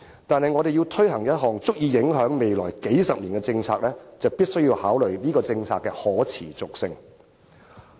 但是，當我們要推行一項足以影響未來數十年的政策時，便必須考慮這項政策的可持續性。